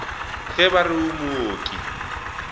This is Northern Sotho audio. ge ba re o mooki